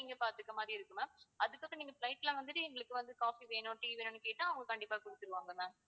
நீங்க பாத்துக்குற மாதிரி இருக்கும் ma'am அதுக்கு அப்புறம் நீங்க flight ல வந்துட்டு எங்களுக்கு வந்து coffee வேணும் tea வேணும்ன்னு கேட்டா அவங்க கண்டிப்பா குடுத்துடுவாங்க ma'am